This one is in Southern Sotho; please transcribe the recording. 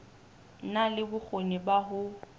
na le bokgoni ba ho